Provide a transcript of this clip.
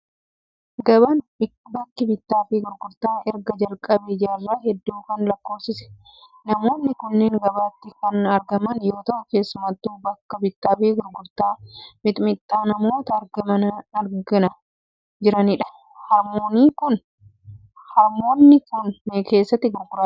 Gabaan bakki bittaa fi gurgurtaa erga jalqabee jaarraa hedduu kan lakkoofsisedha. Namoonni kunneen gabaatti kan argaman yoo ta'u, keessummattuu bakka bittaa fi gurgurtaa mixmixaatti namoota argamana jiranidha. Harmoonni kun keeshaatti gurguraa jiru.